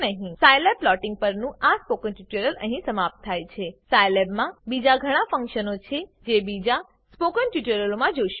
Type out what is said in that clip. સાયલેબમાં plotting પરનું આ spoken tutorial અહીં સમાપ્ત થાય છે સાયલેબમાં બીજા ઘણા ફંકશનો છે જે બીજા સ્પોકન ટ્યુટોરીયલોમાં જોશું